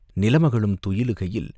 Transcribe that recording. நிலமகளும் துயிலுகையில்..